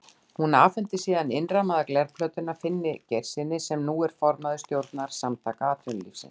Hún afhenti síðan innrammaða glerplötuna Finni Geirssyni, sem nú er formaður stjórnar Samtaka atvinnulífsins.